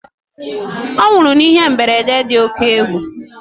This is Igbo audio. Ọ nwụrụ n'ihe mberede dị oke égwu